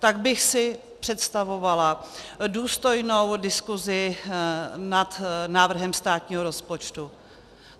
Tak bych si představovala důstojnou diskuzi nad návrhem státního rozpočtu.